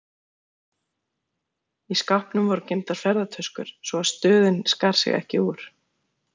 Í skápnum voru geymdar ferðatöskur, svo að stöðin skar sig ekki úr.